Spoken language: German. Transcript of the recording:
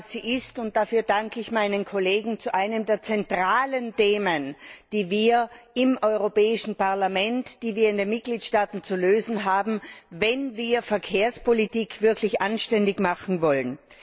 Sie betrifft und dafür danke ich meinen Kollegen eines der zentralen Themen, die wir im Europäischen Parlament, die wir in den Mitgliedstaaten zu lösen haben, wenn wir Verkehrspolitik wirklich anständig machen wollen.